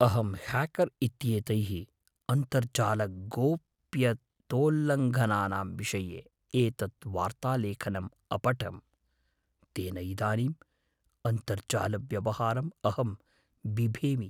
अहं ह्याकर् इत्येतैः अन्तर्जालगोप्यतोल्लङ्घनानां विषये एतत् वार्तालेखनम् अपठं, तेन इदानीम् अन्तर्जालव्यवहारम् अहं बिभेमि।